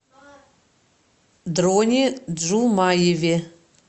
дроне джумаеве